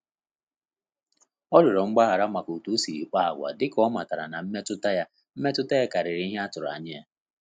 Ọ rịọrọ mgbaghara maka otu o siri kpa agwa, dịka ọ matara na mmetụta ya mmetụta ya karịrị ihe atụrụ anya ya